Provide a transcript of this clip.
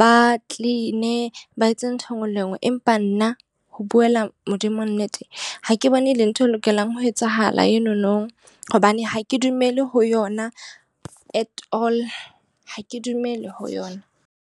ba clean-a ba etse ntho e nngwe le e nngwe. Empa nna ho buela Modimo nnete ha ke bone e le ntho e lokelang ho etsahala enono. Hobane ha ke dumele ho yona at all. Ha ke dumele ho yona.